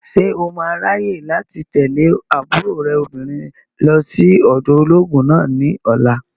Ṣé o máa ráyè láti tẹ̀lé àbúrò rẹ̀ obìnrin lọ sí ọ̀dọ̀ olóògùn náà ní ọ̀la?